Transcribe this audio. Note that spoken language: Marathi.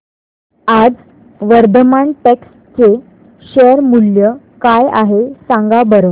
आज वर्धमान टेक्स्ट चे शेअर मूल्य काय आहे सांगा बरं